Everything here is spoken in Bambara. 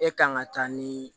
E kan ka taa ni